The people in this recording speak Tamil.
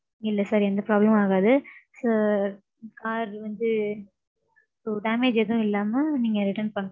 இல்ல sir எந்த problem ஆகாது. sir. Car வந்து damage ஏதும் இல்லாம நீங்க return பன்னணும்.